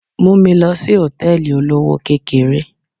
Mú mi lọ sí Hòtẹ́lìì olówó kékeré.